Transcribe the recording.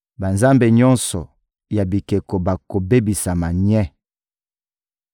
Banzambe nyonso ya bikeko bakobebisama nye.